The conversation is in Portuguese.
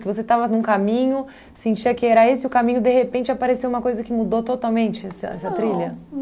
Que você estava num caminho, sentia que era esse e o caminho de repente apareceu uma coisa que mudou totalmente essa essa trilha? Não